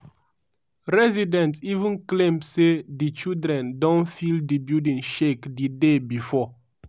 residents even claim say di children don feel di building shake di day bifor.